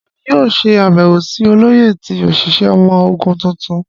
Emi yoo ṣe abẹwo si Oloye ti oṣiṣẹ ọmọ ogun tuntun.